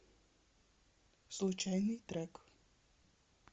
случайный трек